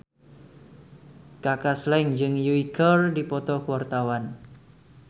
Kaka Slank jeung Yui keur dipoto ku wartawan